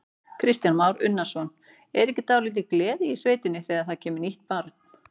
Kristján Már Unnarsson: Er ekki dálítil gleði í sveitinni þegar það kemur nýtt barn?